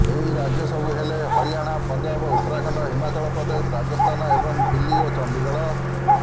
ଏହି ରାଜ୍ୟ ସବୁ ହେଲେ ହରିଆଣା ପଞ୍ଜାବ ଉତ୍ତରାଖଣ୍ଡ ହିମାଚଳ ପ୍ରଦେଶ ରାଜସ୍ଥାନ ଏବଂ ଦିଲ୍ଲୀ ଓ ଚଣ୍ଡିଗଡ଼